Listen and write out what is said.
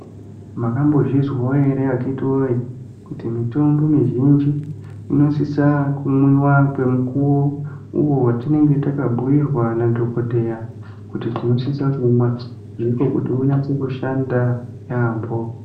Makambozvizwawo ere akhitiwoye, kuti mitombo mizhinji , inosisa kumwiwa kwemukuwo uwo atinenge takabhuirwa nadhokodheya kutibtinosisa kuimwa. Ndiko kuti kunase kushanda yaampho.